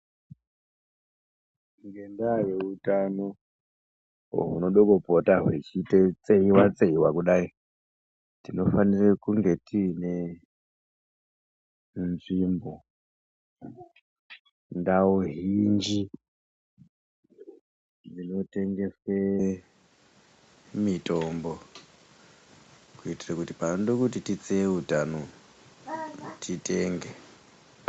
Ngendaa yeutano hunodo kupota hweitseiwa tseiwa kudai, tinofanira kunge tine nzvimbo, ndau zhinji inotengese mitombo kuitire kuti panodo kuti titseye utano, titenge.